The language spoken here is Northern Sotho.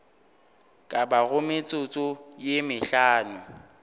ka bago metsotso ye mehlano